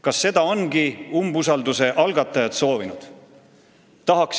Kas seda ongi umbusaldusavalduse algatajad soovinud?